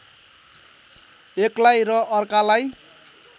एकलाई र अर्कालाई